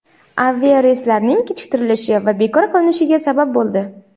aviareyslarning kechiktirilishi va bekor qilinishiga sabab bo‘ldi.